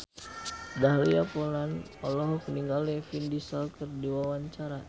Dahlia Poland olohok ningali Vin Diesel keur diwawancara